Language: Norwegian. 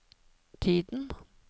tiden